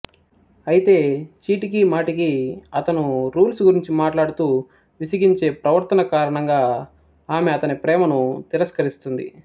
అయితే చీటికీ మాటికీ అతను రూల్స్ గురించి మాట్లాడుతూ విసిగించే ప్రవర్తన కారణంగా ఆమె అతని ప్రేమను తిరస్కరిస్తుంది